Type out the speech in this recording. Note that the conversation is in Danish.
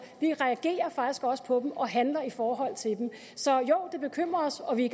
vi reagerer faktisk også på dem og handler i forhold til dem så jo det bekymrer os og vi